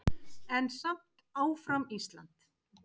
En samt áfram Ísland!